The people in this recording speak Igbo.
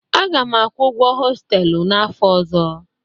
Aga m akwụ ụgwọ hostelu n'afọ ọzọ.